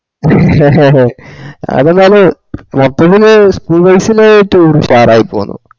അതെന്തെന്ന് മറ്റൊന്നിന് schoolbase ല് tour ഉഷാറായി പോന്നു